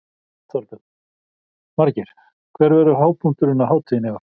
Þorbjörn: Margeir, hver verður hápunkturinn á hátíðinni í ár?